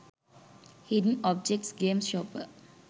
hidden objects games shopper